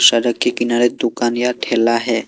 सड़क के किनारे दुकान या ठेला है।